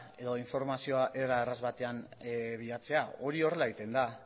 edo informazioa era erraz batean bilatzea hori horrela egiten da